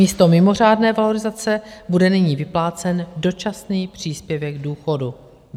Místo mimořádné valorizace bude nyní vyplácen dočasný příspěvek k důchodu.